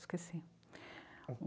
Esqueci.